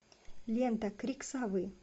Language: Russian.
лента крик совы